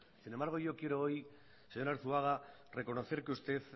sin embargo yo quiero hoy señor arzuaga reconocer que usted